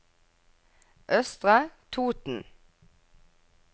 Østre Toten